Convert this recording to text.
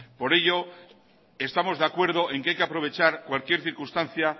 por ello estamos de acuerdo en que hay que aprovechar cualquier circunstancia